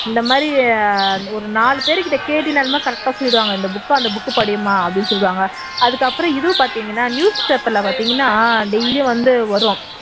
இந்த மாதிரி ஒரு நாலு பேர்கிட்ட கேட்டீனாலுமே correct ஆ சொல்லிடுவாங்க இந்த book அந்த book படிம்மா அப்படின்னு சொல்லுவாங்க அதுக்கு அப்புறம் இது பார்த்தீங்கன்னா news paper ல பார்த்தீங்கன்னா daily யும் வந்து வரும்